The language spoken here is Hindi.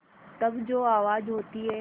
तब जो आवाज़ होती है